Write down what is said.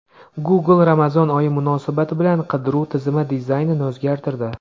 Google Ramazon oyi munosabati bilan qidiruv tizimi dizaynini o‘zgartirdi.